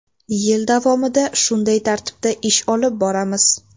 Yil davomida shunday tartibda ish olib boramiz.